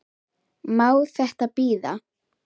Má þetta bíða?